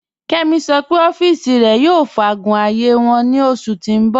Kẹ́mí ṣọ́ pẹ̀ ọ̀fìísì rẹ̀ yóò fàágún ààyé wọn ní oṣù tí n bọ̀